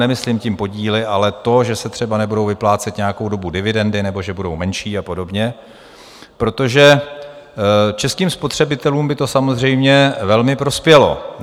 Nemyslím tím podíly, ale to, že se třeba nebudou vyplácet nějakou dobu dividendy nebo že budou menší a podobně, protože českým spotřebitelům by to samozřejmě velmi prospělo.